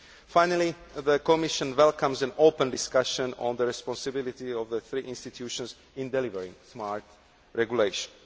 Finally, the Commission welcomes an open discussion on the responsibility of the three institutions in delivering smart regulation.